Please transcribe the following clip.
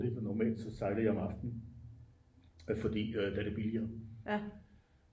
normalt så sejlede jeg om aftenen fordi der er det billigere